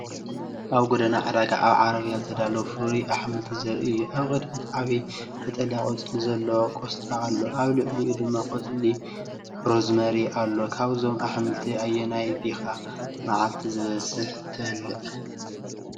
ኣብ ጎደና ዕዳጋ ኣብ ዓረብያ ዝተዳለወ ፍሩይ ኣሕምልቲ ዘርኢ እዩ። ኣብ ቅድሚት ዓቢ ቀጠልያ ቆጽሊ ዘለዎ ቆስጣ ኣሎ፣ ኣብ ልዕሊኡ ድማ ቆጽሊ ሮዝመሪ ኣሎ። ካብዞም ኣሕምልቲ ኣየናይ ኢኻ መዓልታዊ ዝበዝሐ ትበልዕ?